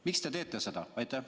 Miks te seda teete?